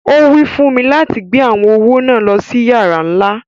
Owí fún mi láti gbé awọn owó náà lọ sí yàrà nlá.